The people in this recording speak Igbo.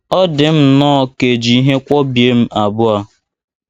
Ọ dị m nnọọ ka è ji ihe kwọbie m abụọ.